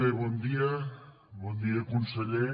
bé bon dia bon dia conseller